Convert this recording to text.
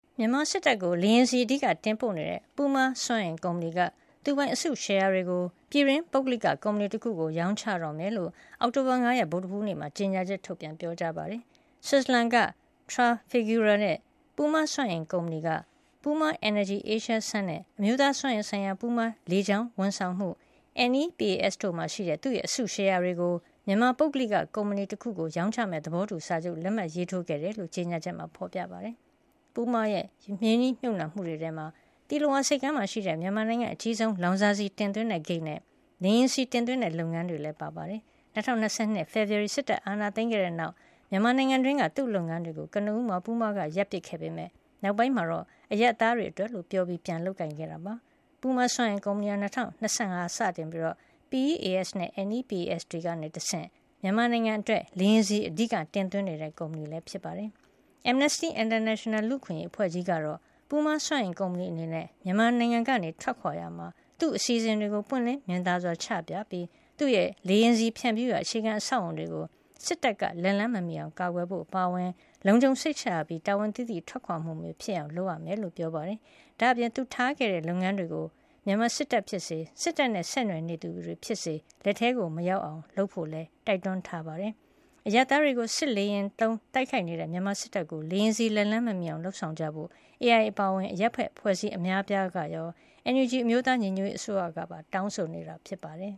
မြန်မာစစ်တပ်ကို လေယာဉ်ဆီ အဓိကတင်ပို့နေတဲ့ ပူးမား စွမ်းအင်ကုမ္ပဏီက သူပိုင်အစုရှယ်ယာတွေကို ပြည်တွင်း ပုဂ္ဂလိကကုမ္ပဏီတခုကို ရောင်းချတော့မှာ ဖြစ်ကြောင်း အောက်တိုဘာလ ၅ ရက် ဗုဒ္ဓဟူးနေ့မှာ ကြေညာချက်ထုတ်ပြန် ပြောကြားလိုက်ပါတယ်။ ဆွစ်ဇာလန်က Trafigura ရဲ့ ပူးမားစွမ်းအင်ကုမ္ပဏီက Puma Energy Asia Sun - PEAS နဲ့ အမျိုးသားစွမ်းအင်ဆိုင်ရာ ပူးမား လေကြောင်းဝန်ဆောင်မှု NEPAS တို့မှာရှိတဲ့ သူ့ရဲ့ အစုရှယ်ယာတွေကို မြန်မာ ပုဂ္ဂလိက ကုမ္ပဏီတခုကို ရောင်းချမယ့် သဘောတူစာချုပ်ကို လက်မှတ်ရေးထိုးခဲ့တယ်လို့ ကြေညာချက်မှာ ဖေါ်ပြထားပါတယ်။ ပူးမားရဲ့ ရင်းနှီးမြှုပ်နှံမှုတွေထဲမှာ သီလဝါဆိပ်ကမ်းမှာရှိတဲ့ မြန်မာနိုင်ငံရဲ့ အကြီးဆုံး လောင်စာဆီ တင်သွင်းတဲ့ဂိတ်နဲ့ လေယာဉ်ဆီ တင်သွင်းတဲ့ လုပ်ငန်းတွေလည်း ပါဝင်ပါတယ်။ ၂၀၂၁ ခုနှစ် ဖေဖေါ်ဝါရီ စစ်တပ်အာဏာသိမ်းခဲ့တဲ့နောက် မြန်မာနိုင်ငံတွင်းက သူ့လုပ်ငန်းတွေကို ကနဦးမှာ ပူးမားက ရပ်ဆိုင်းပစ်ခဲ့ပေမယ့် နောက်ပိုင်းမှာတော့ အရပ်သားတွေအတွက်လို့ ပြောပြီး ပြန်လည်လုပ်ကိုင် ခဲ့တာ ဖြစ်ပါတယ်။ ပူးမားစွမ်းအင်ကုမ္ပဏီဟာ ၂၀၁၅ မှာ စတင်ပြီး PEAS နဲ့ NEPAS တွေကနေတဆင့် မြန်မာနိုင်ငံအတွက် လေယာဉ်ဆီအဓိက တင်သွင်းနေတဲ့ ကုမ္ပဏီဖြစ်ပါတယ်။ Amnesty International လူ့အခွင့်ရေးအဖွဲ့ကြီးကတော့ ပူးမားစွမ်းအင် ကုမ္ပဏီအနေနဲ့ မြန်မာနိုင်ငံကနေ ထွက်ခွါရာမှာ သူအစီအစဉ်တွေကို ပွင့်လင်းမြင်သာစွာ ချပြပြီး သူ့ရဲ့ လေယာဉ်ဆီဖြန့်ဖြူးရာ အခြေခံ အဆောက်အအုံတွေကို စစ်တပ်က လက်လှမ်းမမီအောင် ကာကွယ်ဖို့ အပါအဝင် လုံခြုံစိတ်ချရပြီး တာဝန်သိသိ ထွက်ခွါမှုမျိုး ဖြစ်အောင် လုပ်ဆောင်ရမှာ ဖြစ်ကြောင်း ပြောပါတယ်။ ဒါ့အပြင် သူထားခဲ့တဲ့ လုပ်ငန်းတွေကို မြန်မာစစ်တပ်ဖြစ်စေ စစ်တပ်နဲ့ဆက်နွယ်နေသူတွေ ဖြစ်စေ လက်ထဲမရောက်အောင် လုပ်ဖို့လည်းတိုက်တွန်းထားပါတယ်။ အရပ်သားတွေကို စစ်လေယာဉ်တွေသုံး တိုက်ခိုက်နေတဲ့ မြန်မာစစ်တပ်ကို လေယာဉ်ဆီ လက်လှမ်းမမီအောင် လုပ်ဆောင်ကြဖို့ AI အပါအဝင် အရပ်ဖက်အဖွဲ့အစည်း အများအပြား ကရော NUG အမျိုးသားညီညွတ်ရေးအစိုးရ ကပါ တောင်းဆိုနေတာ ဖြစ်ပါတယ်